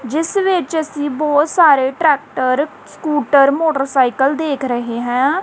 ਜਿਸ ਵਿੱਚ ਅਸੀ ਬਹੁਤ ਸਾਰੇ ਟਰੈਕਟਰ ਸਕੂਟਰ ਮੋਟਰਸਾਈਕਲ ਦੇਖ ਰਹੇ ਹਾਂ।